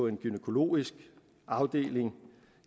en gynækologisk afdeling